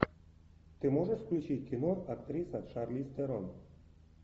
ты можешь включить кино актриса шарлиз терон